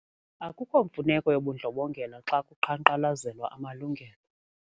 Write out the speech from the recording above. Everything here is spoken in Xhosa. Akukho mfuneko yobundlobongela xa kuqhankqalazelwa amalungelo.